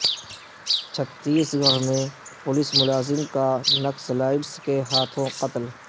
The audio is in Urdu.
چھتیس گڑھ میں پولیس ملازم کا نکسلائٹس کے ہاتھوں قتل